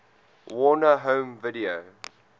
warner home video